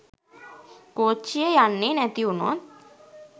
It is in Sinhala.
කෝච්චිය යන්නේ නැතිවුණොත්